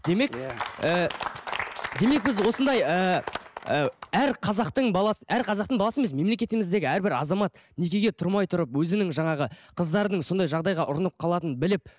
демек ііі демек біз осындай ііі әр қазақтың баласы әр қазақтың баласы емес мемлекетіміздегі әрбір азамат некеге тұрмай тұрып өзінің жаңағы қыздардың сондай жағдайға ұрынып қалатынын біліп